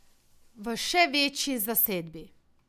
V še večji zasedbi.